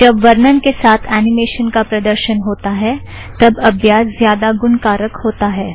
जब वर्णन के साथ ऐनिमेशन का प्रदर्शन होता है तब अभ्यास ज़्यादा गुणकारक होता है